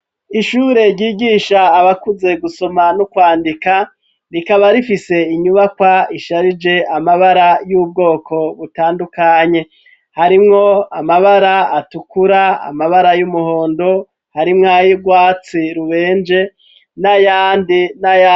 Ishure ryigisha abakuze gusoma no kwandika rikaba rifise inyubakwa isharije amabara y'ubwoko butandukanye harimwo amabara atukura amabara y'umuhondo harimwo ayurwatsi rubenje n'ayandi n'ayandi.